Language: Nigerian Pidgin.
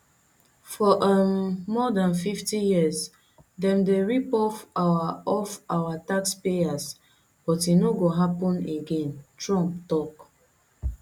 for um more dan fifty years dem dey rip off our off our taxpayers but e no go happun again trump tok